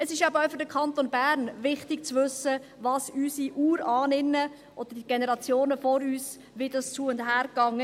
Es ist eben auch für den Kanton Bern wichtig zu wissen, wie es zur Zeit unserer Urahninnen, oder während der Generationen vor uns, zu- und herging.